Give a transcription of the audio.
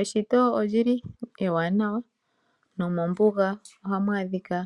Eshito olyili ewanawa, nomombunga oha mwadhika